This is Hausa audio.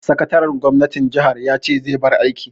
Sakataren gwamnatin jaha ya ce zai bar aiki.